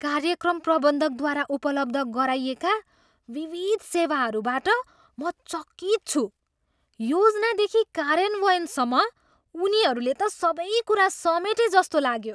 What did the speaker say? कार्यक्रम प्रबन्धकद्वारा उपलब्ध गराइएका विविध सेवाहरूबाट म चकित छु, योजनादेखि कार्यान्वयनसम्म, उनीहरूले त सबै कुरा समेटेजस्तो लाग्यो!